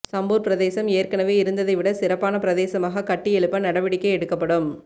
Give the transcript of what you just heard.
சம்பூர் பிரதேசம் ஏற்கனவே இருந்ததை விட சிறப்பான பிரதேசமாக கட்டியெழுப்ப நடவடிக்கை எடுக்கப்படும்